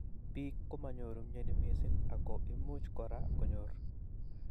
Bik komanyoru missing mnyeni ako imuch kora konyr.